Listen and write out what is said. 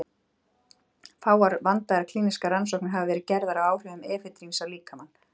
Fáar vandaðar klínískar rannsóknir hafa verið gerðar á áhrifum efedríns á líkamann.